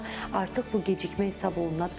artıq bu gecikmə hesab oluna bilər.